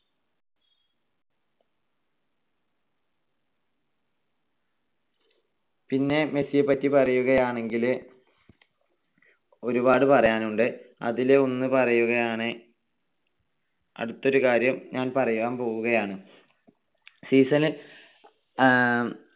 പിന്നെ മെസ്സിയെ പറ്റി പറയുകയാണെങ്കിൽ ഒരുപാട് പറയാനുണ്ട്. അതിൽ ഒന്ന് പറയുകയാണ്. അടുത്ത ഒരു കാര്യം ഞാൻ പറയാൻ പോവുകയാണ്. Season ൽ